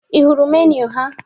Ị hụrụ meniu ha?